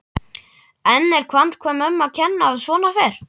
En er handvömm um að kenna að svona fer?